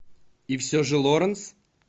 и все же лоранс